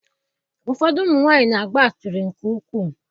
Ụfọdụ ụmụ nwanyị na-agba asịrị nke ukwuu.